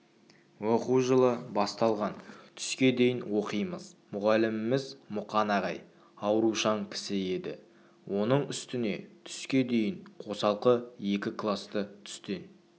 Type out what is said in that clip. оқу жылы басталған біз түске дейін оқимыз мұғаліміміз мұқан ағай аурушаң кісі еді оның үстіне түске дейін қосалқы екі класты түстен